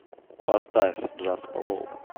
поставь джаспа вол